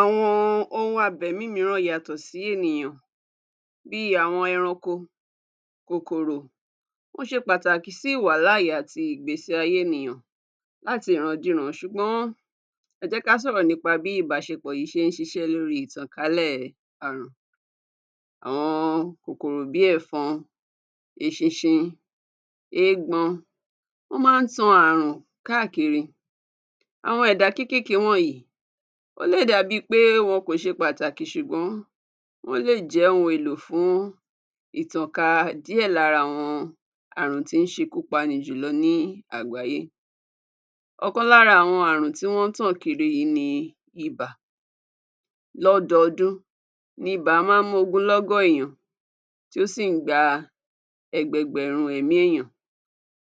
Àwọn ohun abẹ̀mí mìíràn yàtọ̀ sí ènìyàn bíi àwọn ẹranko, kòkòrò, wọ́n ṣe pàtàkì sí ìwàláàyè àti ìgbésí ayé ènìyàn láti ìrandíran ṣùgbọ́n ẹ jẹ́ ká sọ̀rọ̀ nípa bí ìbáṣepọ̀ yìí ṣe ń ṣiṣẹ́ lórí ìtànkálẹ̀ àrùn. Àwọn kòkòrò bí ẹ̀fọn, eṣinṣin, eégbọn, wọn máa ń tan àrùn káàkiri. Àwọn ẹ̀dá kékèké wọ̀nyìí, ó lè dà bíi pé wọn kò ṣe pàtàkì ṣùgbọ́n wọ́n lè jẹ́ ohun èlò fún ìtànká díẹ̀ lára àwọn àrùn tí ń ṣekú pani jùlọ ní àgbáyé. Ọ̀kan lára àwọn àrùn tí wọ́n ń tàn kiri yìí ni ibà. Lọ́dọọdún, nibà máa ń mógúnlọ́gọ̀ èèyàn, tí ó sì ń gba ẹgbẹgbẹ̀rún ẹ̀mí èèyàn